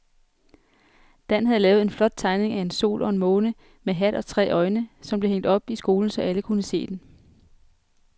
Dan havde lavet en flot tegning af en sol og en måne med hat og tre øjne, som blev hængt op i skolen, så alle kunne se den.